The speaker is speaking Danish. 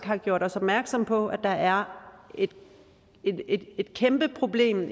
har gjort os opmærksomme på at der er et kæmpeproblem